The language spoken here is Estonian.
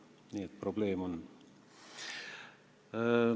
Nii et probleem on.